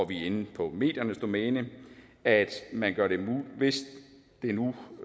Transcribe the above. vi er inde på mediernes domæne at hvis